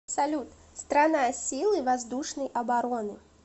салют страна силы воздушной обороны